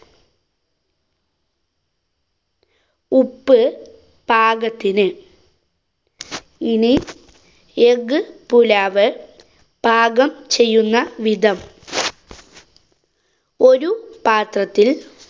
ഉപ്പ് പാകത്തിന്. ഇനി egg പുലാവ് പാകം ചെയ്യുന്ന വിധം. ഒരു പാത്രത്തില്‍.